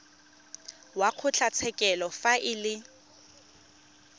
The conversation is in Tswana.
wa kgotlatshekelo fa e le